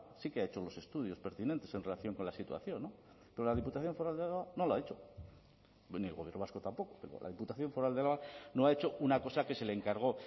sí que ha hecho los estudios pertinentes en relación con la situación no pero la diputación foral de álava no lo ha hecho ni el gobierno vasco tampoco pero la diputación foral de álava no ha hecho una cosa que se le encargó